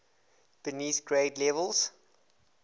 beneath grade levels